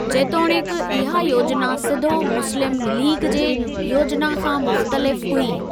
जेतोणीकि, इहा योजना सिधो मुस्लिम लीग जे योजना खां मुख्तलिफ हुई।